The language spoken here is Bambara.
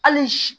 Hali si